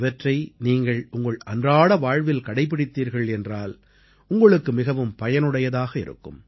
இவற்றை நீங்கள் உங்கள் அன்றாட வாழ்வில் கடைப்பிடித்தீர்கள் என்றால் உங்களுக்கு மிகவும் பயனுடையதாக இருக்கும்